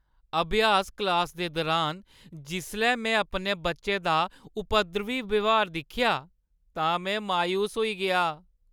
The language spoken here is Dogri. अभ्यास क्लासा दे दरान जिसलै में अपने बच्चे दा उपद्रवी ब्यहार दिक्खेआ तां में मायूस होई गेआ।